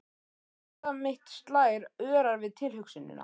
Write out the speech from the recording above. Hjarta mitt slær örar við tilhugsunina.